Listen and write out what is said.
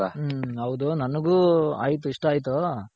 ಹ್ಮ್ ಹೌದು ನನಗು ಆಯ್ತು ಇಷ್ಟ ಆಯ್ತು